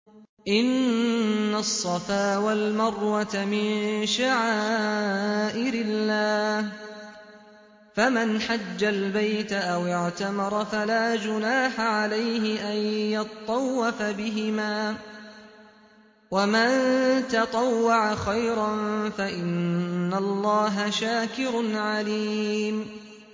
۞ إِنَّ الصَّفَا وَالْمَرْوَةَ مِن شَعَائِرِ اللَّهِ ۖ فَمَنْ حَجَّ الْبَيْتَ أَوِ اعْتَمَرَ فَلَا جُنَاحَ عَلَيْهِ أَن يَطَّوَّفَ بِهِمَا ۚ وَمَن تَطَوَّعَ خَيْرًا فَإِنَّ اللَّهَ شَاكِرٌ عَلِيمٌ